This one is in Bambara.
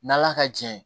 N'ala ka jɛ ye